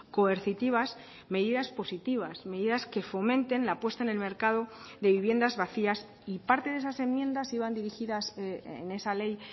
coercitivas medidas positivas medidas que fomenten la puesta en el mercado de viviendas vacías y parte de esas enmiendas iban dirigidas en esa ley